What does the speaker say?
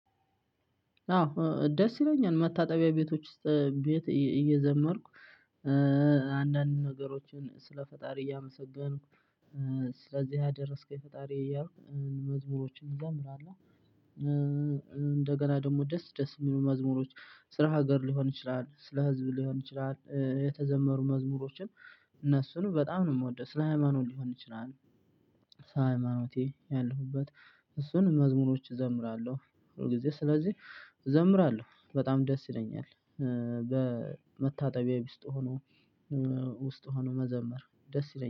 አዎ ደስ ይለኛል መታጠቢያ ቤቶች ቤት እየዘመርኩ አንዳንድ ነገሮችን ስለ ፈጣሪ እያመሰገንኩ ስለዚህ አደረስከኝ ፈጣሪ እያልኩ መዝሙሮችን እዘምራለሁ። እንደገና ደግሞ ደስ ደስ የሚሉ መዝሙሮች ስራ ሀገር ሊሆን ይችላል ስለ ህዝብ ሊሆን ይችላል የተዘመሩ መዝሙሮችን እነሱን በጣም ነው የምወደው ስለ ሃይማኖት ሊሆን ይችላል። ስለሀይማኖቴ ያለሁበት እሱን መዝሙሮች እዘምራለሁ ሁልጊዜ ስለዚህ እዘምራለሁ በጣም ደስ ይለኛል። በመታጠቢያ ቢስጥ ሆኖ ውስጥ ሆኖ መዘመር ደስ ይለኛል